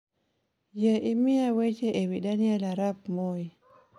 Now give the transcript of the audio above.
yie miya weche ewi daniel arap moi